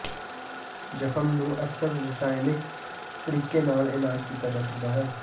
ਜ਼ਖ਼ਮ ਨੂੰ ਅਕਸਰ ਰਸਾਇਣਕ ਤਰੀਕੇ ਨਾਲ ਇਲਾਜ ਕੀਤਾ ਜਾਂਦਾ ਹੈ